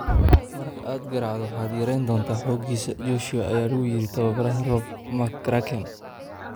"Marka aad garaacdo, waxaad yareyn doontaa xooggiisa," Joshua ayaa lagu yiri tababaraha Rob McCracken.